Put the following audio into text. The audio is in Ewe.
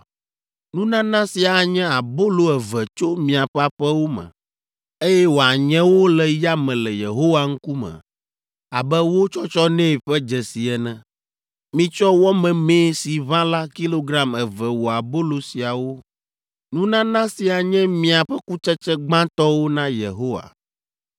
Nunana sia anye abolo eve tso miaƒe aƒewo me, eye woanye wo le yame le Yehowa ŋkume abe wo tsɔtsɔ nɛ ƒe dzesi ene. Mitsɔ wɔ memee si ʋã la kilogram eve wɔ abolo siawo. Nunana sia nye miaƒe kutsetse gbãtɔwo na Yehowa.